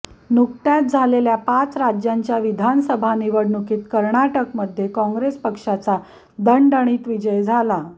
नुकत्याच झालेल्या पाच राज्यांच्या विधानसभा निवडणुकीत कर्नाटकमध्ये काँग्रेस पक्षाचा दणदणीत विजय झालाा